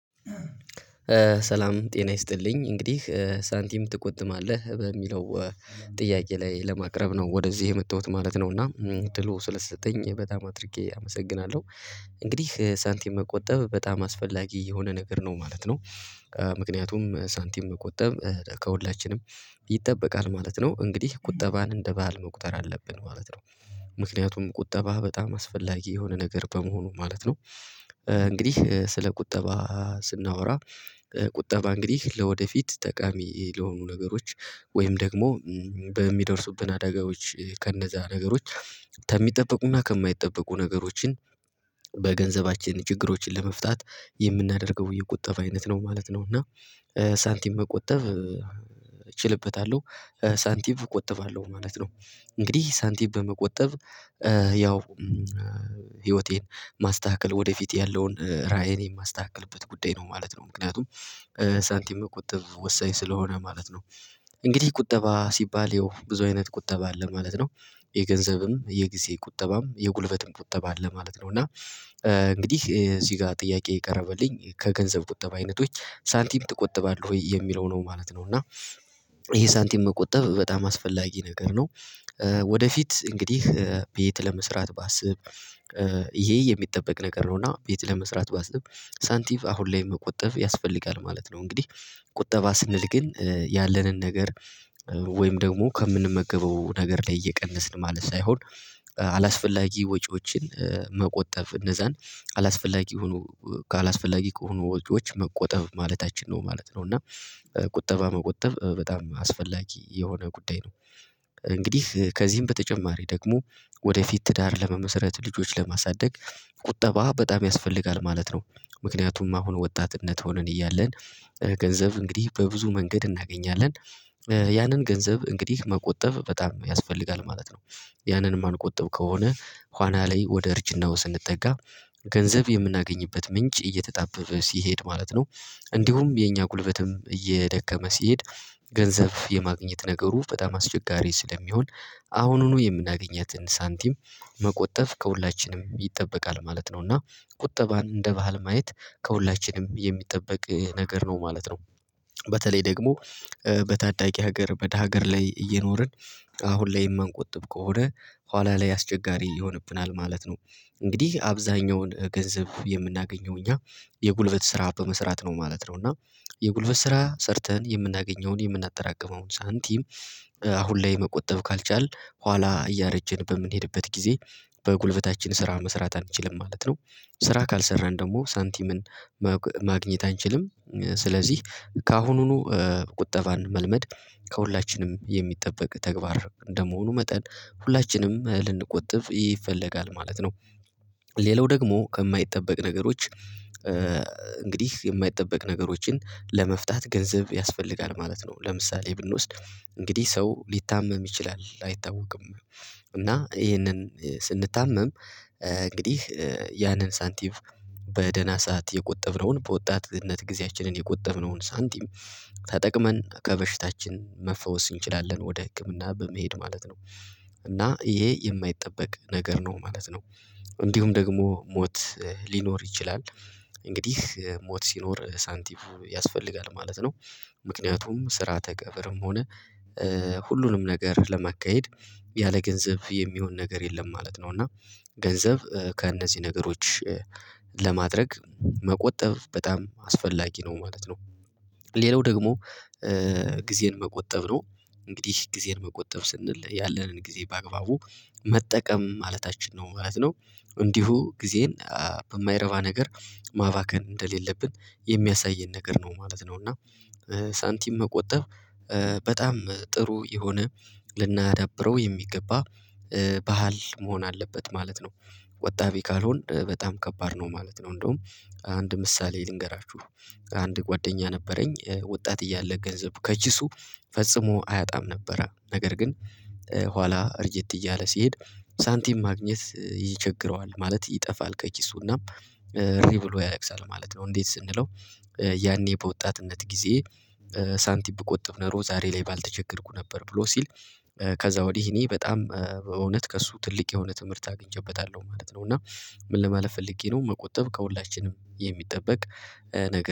ሰላም ጤና ይስጥልኝ እንግዲህ ሳንቲም ትቆምባለህ በሚለው ጥያቄ ላይ ለማቅረብ ነው ወደዚህ የመጣሁት ማለት ነው። እና ትሎ ስለሰጠኝ በጣም አድርጌ አመሰግናለሁ። እንግዲህ ሳንቲም መቆጠብ በጣም አስፈላጊ የሆነ ነገር ነው ማለት ነው። ምክንያቱም ሳንቲም መቆጠብ ከሁላችንም ይጠበቃል ማለት ነው። እንግዲህ ቁጠባን እንደ ባህል መቁጠር አለብን ማለት ነው። ምክንያቱም ቁጠባ በጣም አስፈላጊ የሆነ ነገር በመሆኑ ማለት ነው። እንግዲህ ስለ ቁጠባ ስናወራ ቁጠባ እንግዲህ ለወደፊት ጠቃሚ ለሆኑ ነገሮች ወይም ደግሞ በሚደርሱብን አዳጋዎች ከእነዛ ነገሮች ከሚጠበቁና ከማይጠበቁ ነገሮችን በገንዘባችን ችግሮችን ለመፍታት የምናደርገው የቁጠባ አይነት ነው ማለት ነው። እና ሳንቲም መቆጠብ እችልበታለሁ ሳንቲም እቆጥባለሁ ማለት ነው። እንግዲህ ሳንቲም በመቆጠብ ያው ህይወቴን ማስተካከል ወደፊት ያለውን ራዕይን የማስተካክልበት ጉዳይ ነው ማለት ነው። ምክንያቱም ሳንቲም መቆጠብ ወሳኝ ስለሆነ ማለት ነው። እንግዲህ ቁጠባ ሲባል ይኸው ብዙ አይነት ቁጠባ ማለት ነው። የገንዘብም የጊዜ ቁጠባም የጉልበትም ቁጠባ አለ ማለት ነው። እና እንግዲህ እዚህ ጋር ጥያቄ የቀረበልኝ ከገንዘብ ቁጠባ አይነቶች ሳንቲም ትቆጥባለህ ወይ የሚለው ነው ማለት ነው? እና ይሄ ሳንቲም መቆጠብ በጣም አስፈላጊ ነገር ነው። ወደፊት እንግዲህ ቤት ለመስራት ባስብ ይሄ የሚጠበቅ ነገር ነውና ቤት ለመስራት ባስብ ሳንቲቭ አሁን ላይ መቆጠብ ያስፈልጋል ማለት ነው። እንግዲህ ቁጠባ ስንል ግን ያለንን ነገር ወይም ደግሞ ከምንመገበው ነገር ላይ እየቀነስን ማለት ሳይሆን አላስፈላጊ ወጪዎችን መቆጠብ እነዛን አላስፈላጊ ሆኖ አላስፈላጊ ከሆኑ ወጪዎች መቆጠብ ማለታችን ነው ማለት ነው። እና ቁጠባ መቆጠብ በጣም አስፈላጊ የሆነ ጉዳይ ነው። እንግዲህ ከዚህም በተጨማሪ ደግሞ ወደፊት ትዳር ለመመስረት ልጆች ለማሳደግ ቁጠባ በጣም ያስፈልጋል ማለት ነው። ምክንያቱም አሁን ወጣትነት ሆነን እያለን ገንዘብ እንግዲህ በብዙ መንገድ እናገኛለን ያንን ገንዘብ እንግዲህ መቆጠብ በጣም ያስፈልጋል ማለት ነው። ያንን የማንቆጥብ ከሆነ ኋና ላይ ወደ እርጅና ውስጥ ስንጠጋ ገንዘብ የምናገኝበት ምንጭ እየተጣበበ ሲሄድ ማለት ነው። እንዲሁም የኛ ጉልበትም እየደከመ ሲሄድ ገንዘብ የማግኘት ነገሩ በጣም አስቸጋሪ ስለሚሆን አሁኑኑ የምናገኘትን ሳንቲም መቆጠብ ከሁላችንም ይጠበቃል ማለት ነው። እና ቁጠባን እንደ ባህል ማየት ከሁላችንም የሚጠበቅ ነገር ነው ማለት ነው። በተለይ ደግሞ በታዳጊ ሀገር በደሀ ሀገር ላይ እየኖርን አሁን ላይ የማንቆጥብ ከሆነ ኋላ ላይ አስቸጋሪ ይሆንብናል ማለት ነው። እንግዲህ አብዛኛውን ገንዘብ የምናገኘው እኛ የጉልበት ስራ በመስራት ነው ማለት ነው። እና የጉልበት ስራ ሰርተን የምናገኘውን የምናጠራቅመውን ሳንቲም አሁን ላይ መቆጠብ ካልቻልን ኋላ እያረጀን በምንሄድበት ጊዜ በጉልበታችን ስራ መስራት አንችልም ማለት ነው። ስራ ካልሰራን ደግሞ ሳንቲምን ማግኘት አንችልም። ስለዚህ ከአሁኑኑ ቁጠባን መልመድ ከሁላችንም የሚጠበቅ ተግባር እንደመሆኑ መጠን ሁላችንም ልንቆጥፍ ይፈለጋል ማለት ነው። ሌላው ደግሞ ከማይጠበቅ ነገሮች እንግዲህ የማይጠበቅ ነገሮችን ለመፍታት ገንዘብ ያስፈልጋል ማለት ነው። ለምሳሌ ብንወስድ እንግዲህ ሰው ሊታመም ይችላል አይታወቅም እና ይሄንን ስንታመም እንግዲህ ያንን ሳንቲም በደና ሰዓት የቆጠብነውን በወጣትነት ጊዜያችንን የቆጠብነውን ሳንቲም ተጠቅመን ከበሽታችን መፈወስ እንችላለን ወደ ህክምና በመሄድ ማለት እና ይሄ የማይጠበቅ ነገር ነው ማለት ነው። እንዲሁም ደግሞ ሞት ሊኖር ይችላል እንግዲህ ሞት ሲኖር ሳንቲሙ ያስፈልጋል ማለት ነው። ምክንያቱም ስራተ ቀብርም ሆነ ሁሉንም ነገር ለማካሄድ ያለ ገንዘብ የሚሆን ነገር የለም ማለት ነው። እና ገንዘብ ከእነዚህ ነገሮች ለማድረግ መቆጠብ በጣም አስፈላጊ ነው ማለት ነው። ሌላው ደግሞ ጊዜን መቆጠብ ነው እንግዲህ ጊዜን መቆጠብ ስንል ያለንን ጊዜ በአግባቡ መጠቀም ማለታችን ነው ማለት ነው። እንዲሁ ጊዜን በማይረባ ነገር ማባከን እንደሌለብን የሚያሳየን ነገር ነው ማለት ነው። እና ሳንቲም መቆጠብ በጣም ጥሩ የሆነ ልናዳብረው የሚገባ ባህል መሆን አለበት ማለት ነው። ወጣቢ ካልሆንክ በጣም ከባድ ነው ማለት ነው። እንደውም አንድ ምሳሌ ልንገራችሁ ከአንድ ጓደኛ ነበረኝ ወጣት እያለ ገንዘብ ከኪሱ ፈጽሞ አያጣም ነበረ ነገር ግን ኋላ እርጅት እያለ ሲሄድ ሳንቲም ማግኘት ይቸግረዋል ማለት ይጠፋል ከኪሱና እሪ ብሎ ያለቅሳል ማለት ነው። እንዴት ስንለው ያኔ በወጣትነት ጊዜ ሳንቲም ብቆጥብ ኖሮ ዛሬ ላይ ባልተቸገርኩ ነበር ብሎ ሲል። ከዛ ወዲህ እኔ በጣም በእውነት ከእሱ ትልቅ የሆነ ትምህርት አግኝቼበታለሁ ማለት ነው። እና ምን ለማለት ፈልጌ ነው መቆጠብ ከሁላችንም የሚጠበቅ ነገር